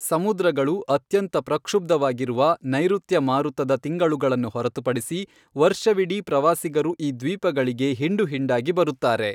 ಸಮುದ್ರಗಳು ಅತ್ಯಂತ ಪ್ರಕ್ಷುಬ್ಧವಾಗಿರುವ ನೈಋತ್ಯ ಮಾರುತದ ತಿಂಗಳುಗಳನ್ನು ಹೊರತುಪಡಿಸಿ, ವರ್ಷವಿಡೀ ಪ್ರವಾಸಿಗರು ಈ ದ್ವೀಪಗಳಿಗೆ ಹಿಂಡುಹಿಂಡಾಗಿ ಬರುತ್ತಾರೆ.